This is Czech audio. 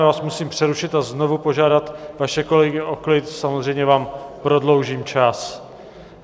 Já vás musím přerušit a znovu požádat vaše kolegy o klid, samozřejmě vám prodloužím čas.